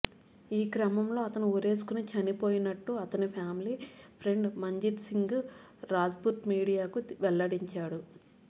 ఈ క్రమంలోనే అతను ఉరేసుకుని చనిపోయినట్లు అతని ఫ్యామిలీ ఫ్రెండ్ మంజీత్ సింగ్ రాజ్పుత్ మీడియాకు వెల్లడించాడు